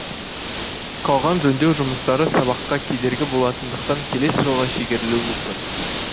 қалған жөндеу жұмыстары сабаққа кедергі болатындықтан келесі жылға шегерілуі мүмкін